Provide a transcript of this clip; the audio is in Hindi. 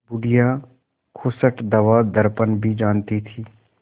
बुढ़िया खूसट दवादरपन भी जानती थी